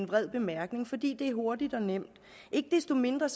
vrede bemærkninger fordi det er hurtigt og nemt ikke desto mindre